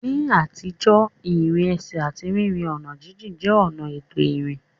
Ní àtijọ́, ìrìn ẹsẹ̀ àti rírin ọ̀nà jíjìn jẹ́ ọ̀nà ètò ìrìn.